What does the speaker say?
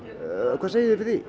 hvað segið þið við